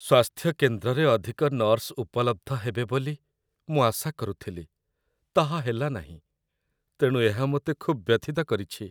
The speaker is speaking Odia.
"ସ୍ୱାସ୍ଥ୍ୟ କେନ୍ଦ୍ରରେ ଅଧିକ ନର୍ସ ଉପଲବ୍ଧ ହେବେ ବୋଲି ମୁଁ ଆଶା କରୁଥିଲି, ତାହା ହେଲା ନାହିଁ, ତେଣୁ ଏହା ମୋତେ ଖୁବ୍ ବ୍ୟଥିତ କରିଛି।"